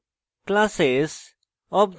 classes